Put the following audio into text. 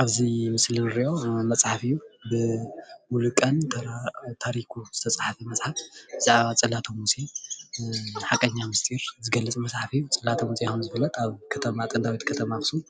ኣብዚ ምስሊ እንሪኦ መፅሓፍ እዩ፡፡ ብሙሉቀን ታሪኩ ዝተፃሓፈ መፅሓፍ ብዛዕባ ፅላተ ሙሴ ሓቀኛ ምስጥር ዝገልፅ መፅሓፍ እዩ፡፡ ፅላተ ሙሴ ከም ዝፍለጥ አብ ከተማ ጥንታዊት ከተማ ኣክሱም